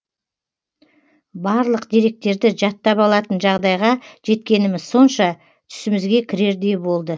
барлық деректерді жаттап алатын жағдайға жеткеніміз сонша түсімізге кірердей болды